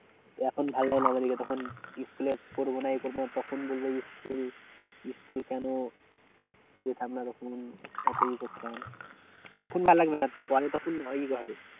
এখন ভালো লাগে না আমাদিগের তখন school এ পড়বো না এই করবো না তখন বলবো school school কেন এখন ভাললাগবে না পরে তখন